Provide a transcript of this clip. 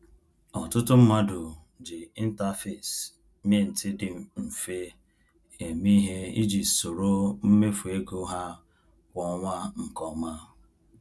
Ọtụtụ mmadụ ji interface Mint dị mfe eme ihe iji soro mmefu ego ha kwa ọnwa nke ọma.